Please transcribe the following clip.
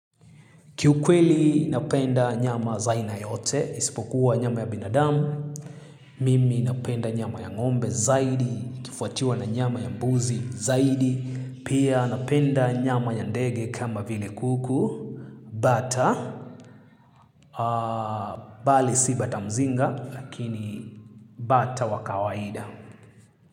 Kiukweli napenda nyama za aina yote, isipokuwa nyama ya binadamu, mimi napenda nyama ya ngombe zaidi, ikifuatiwa na nyama ya mbuzi zaidi, pia napenda nyama ya ndege kama vile kuku, bata, bali si bata mzinga, lakini bata wa kawaida.